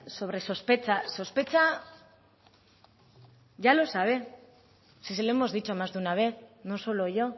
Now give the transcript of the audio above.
sobre sospecha sospecha ya lo sabe s se lo hemos dicho más de una vez no solo yo